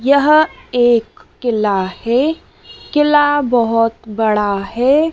यह एक किला है। किला बहोत बड़ा है।